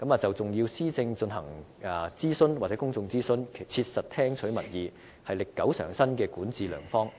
就重要的施政進行公眾諮詢，切實聽取民意，是歷久常新的管治良方。